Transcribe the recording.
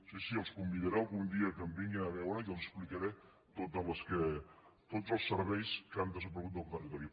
sí sí els convidaré algun dia que em vinguin a veure i els explicaré tots els serveis que han desapare·gut del territori